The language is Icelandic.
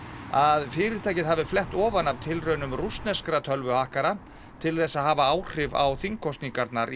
að fyrirtækið hafi flett ofan af tilraunum rússneskra tölvuhakkara til þess að hafa áhrif á þingkosningarnar